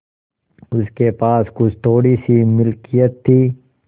उसके पास कुछ थोड़ीसी मिलकियत थी